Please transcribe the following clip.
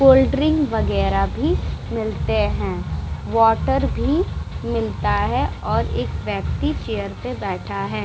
कोल्- drink वगेरा भी मिलते है वाटर भी मिलता है और एक व्यक्ति चेयर पे बैठा है।